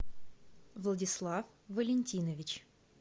владислав валентинович